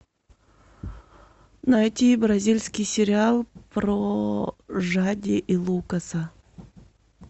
найти бразильский сериал про жади и лукаса